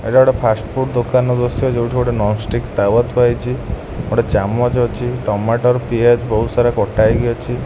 ଏଇଟା ଗୋଟେ fast food ଦୋକାନର ଦୃଶ୍ୟ ଯୋଉଠି ଗୋଟେ ନନ୍ ଷ୍ଟିକ୍ ତାୱା ଥୁଆ ହେଇଛି ଗୋଟେ ଚାମଚ ଅଛି ଟମାଟର୍ ପିଆଜ ବୋହୁତ୍ ସାରା କଟା ହେଇକି ଅଛି।